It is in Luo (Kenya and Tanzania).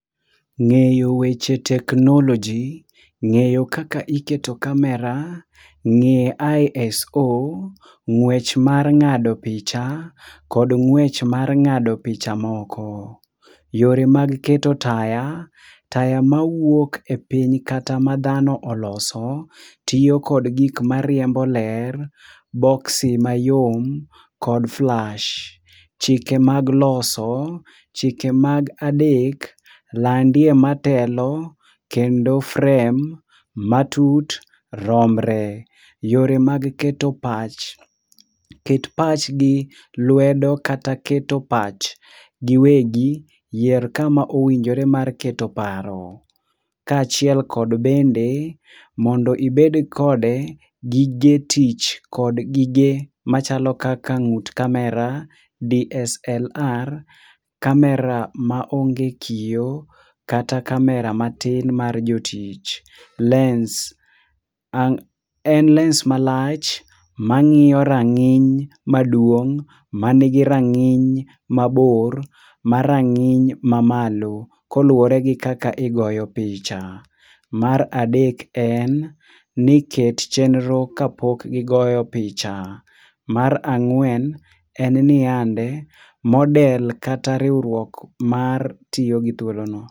Ngeyo weche teknoloji ,ngeyo kaka iketo camera, ngeyo ISO, ngwech mar ngado picha kod ngwech mar ngado picha moko. Yore mag keto taya, taya mawuok e piny kata ma dhano oloso tiyo kod gik mariembo ler, boksi mayom kod flash. Chike mag loso, chike mag adek, landie matelo kendo frame matut romre. Yore mag keto pach, ket pachgi lwedo kata keto pachgi wegi, yier kama owinjore mar keto paro kachiel kod bende mondo obed kode gige tich kod gige machalo kaka ngut camera, DSLR,camera maonge kiyoo kata camera matin mar jotich. Lens, en lens malach mangiyo ranginy maduong manigi ranginy mabor maranginy mamalo koluore gi kaka igoyo picha. Mar adek en ni ket chenro kapok gigoyo picha. Mar angwen en niyande, model kata riwruok mar tiyo gi thuolo no